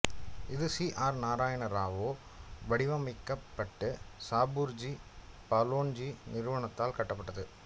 இது சீ ஆர் நாரயண ராவோ வடிவமைக்கப்பட்டு சாபூர்ஜி பலோன்ஜி நிறுவனத்தால் கட்டப்பட்டது